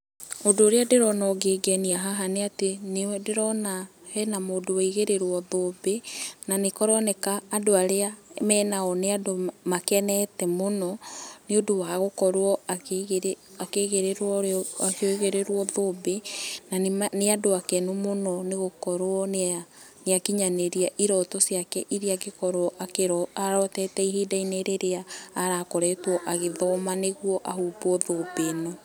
Ũndũ ũrĩa ndĩrona ũngĩngenia haha nĩ atĩ nĩndĩrona he na mũndũ waigĩrĩrwo thũmbĩ, na nĩkũroneka andũ arĩa me nao nĩ andũ makenete mũno nĩ ũndũ wa gũkorwo akĩigĩrĩrwo akĩigĩrĩrwo thũmbĩ na nĩ andũ akenu mũno nĩ gũkorwo nĩ akinyanĩrĩa iroto ciake iria angĩkorwo arotete ihinda rĩrĩa arakoretwo agĩthoma nĩgũo ahumbwo thũmbĩ ĩno.